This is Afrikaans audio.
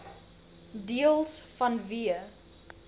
deels vanweë